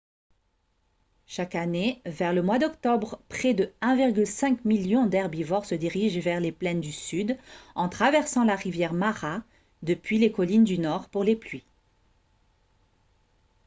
chaque année vers le mois d'octobre près de 1,5 million d'herbivores se dirigent vers les plaines du sud en traversant la rivière mara depuis les collines du nord pour les pluies